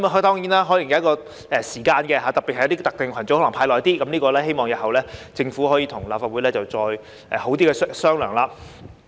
當然，這可能有一個時限，而對於一些特定群組，可能須派發較長時間，我希望日後政府可以跟立法會好好商量。